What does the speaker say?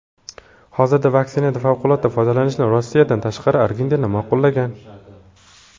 Hozirda vaksinadan favqulodda foydalanishni Rossiyadan tashqari Argentina ma’qullagan.